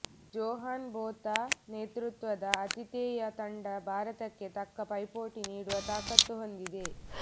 Johan Botha ನೇತೃತ್ವದ ಆತಿಥೇಯ ತಂಡ ಭಾರತಕ್ಕೆ ತಕ್ಕ ಪೈಪೋಟಿ ನೀಡುವ ತಾಕತ್ತು ಹೊಂದಿದೆ